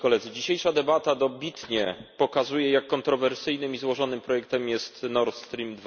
Dzisiejsza debata dobitnie pokazuje jak kontrowersyjnym i złożonym projektem jest Nord Stream